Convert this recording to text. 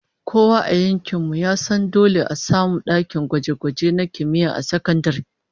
Kowa a yankin mu ya san dole a samu dakunan gwaje-gwaje na kimiyya a sakandare